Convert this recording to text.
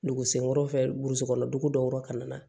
Dugu senkɔrɔ burusi kɔnɔ dugu dɔw yɔrɔ ka na na